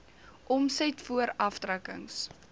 omset voor aftrekkings